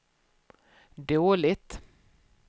dåligt